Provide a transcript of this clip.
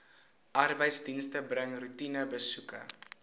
arbeidsdienste bring roetinebesoeke